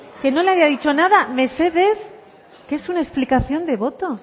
que no le había dicho nada mesedez que es una explicación de voto